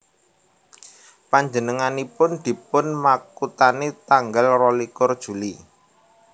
Panjenenganipun dipun makuthani tanggal rolikur Juli